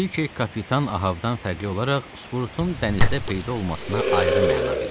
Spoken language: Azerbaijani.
Kvik kapitan Ahəvdən fərqli olaraq Sprutun dənizdə peyda olmasına ayrı məna verirdi.